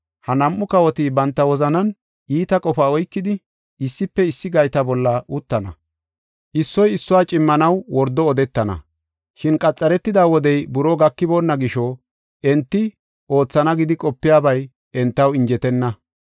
Ha nam7u kawoti banta wozanan iita qofa oykidi, issife issi gayta bolla uttana; issoy issuwa cimmanaw wordo odetana. Shin qametida wodey buroo gakiboonna gisho enti oothana gidi qopiyabay entaw injetenna.